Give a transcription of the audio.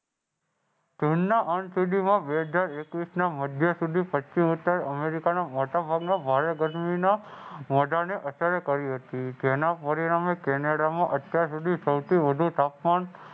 ચીનનાં અંત સુધીમાં બે હજાર એકવીસના મધ્ય સુધી અમેરિકાના મોટા ભાગના ભારે ગરમીના અસર કરી હતી. જેના પરિણામે કેનેડામાં અત્યાર સુધી સૌથી વધુ તાપમાન